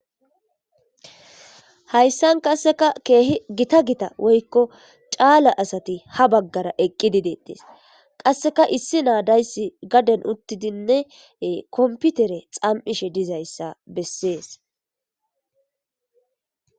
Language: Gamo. Hayssan qasseka keehi gita gita woykko caala asati ha baggara eqqidideettes qasseka issi naadayssi gaden uttidinne komputere xam'ishe dizayssa bessees.